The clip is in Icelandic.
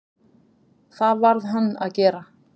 Það varð hann að gera.